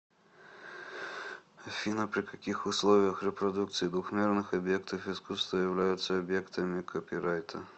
афина при каких условиях репродукции двухмерных объектов искусства являются объектами копирайта